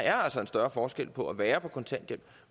er en større forskel på at være på kontanthjælp